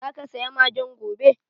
Zaka saya magen gobe?